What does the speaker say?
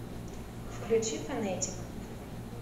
включи фонэтик